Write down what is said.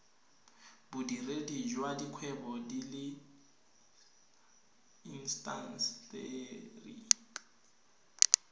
bodiredi jwa dikgwebo le intaseteri